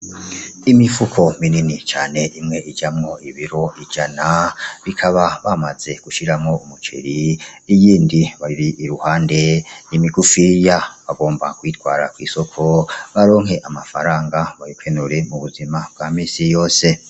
Imifuko minini cane imwe ijamo ibiro ijana, bikaba bamaze gushiramo umuceri iyindi iruhande ni migufiya. Bagomba kuyitwara kw'isoko baronke amafaranga bakeneye mubuzima bwa misi yose.